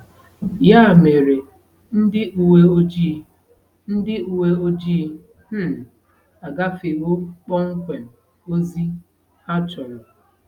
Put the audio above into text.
Ya mere, ndị uwe ojii ndị uwe ojii um agafewo kpọmkwem ozi ha chọrọ.